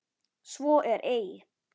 Svo er ei.